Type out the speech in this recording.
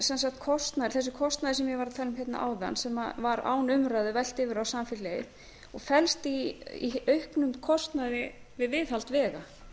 þessu er kostnaður þessi kostnaður sem ég var að tala um hérna áðan sem var án umræðu velt yfir á samfélagið og felst í auknum kostnaði við viðhald vega